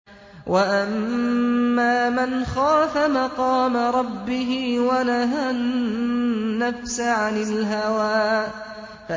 وَأَمَّا مَنْ خَافَ مَقَامَ رَبِّهِ وَنَهَى النَّفْسَ عَنِ الْهَوَىٰ